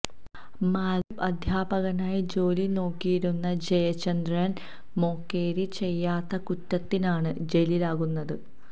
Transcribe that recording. മാലെ ദ്വീപില് അധ്യാപകനായി ജോലിനോക്കിയിരുന്ന ജയചന്ദ്രന് മൊകേരി ചെയ്യാത്ത കുറ്റത്തിനാണ് ജയിലിലാകുന്നത്